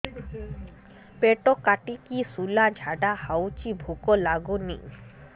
ପେଟ କାଟିକି ଶୂଳା ଝାଡ଼ା ହଉଚି ଭୁକ ଲାଗୁନି